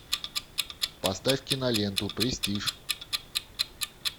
поставь киноленту престиж